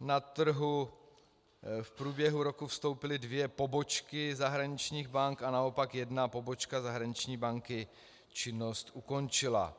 na trh v průběhu roku vstoupily dvě pobočky zahraničních bank a naopak jedna pobočka zahraniční banky činnost ukončila.